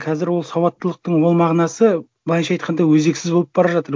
қазір ол сауаттылықтың ол мағынасы былайынша айтқанда өзексіз болып бара жатыр